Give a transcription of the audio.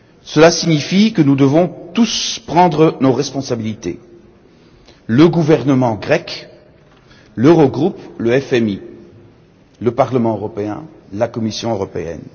Cela signifie que nous devons tous prendre nos responsabilités le gouvernement grec, l'Eurogroupe, le FMI, le Parlement européen et la Commission européenne.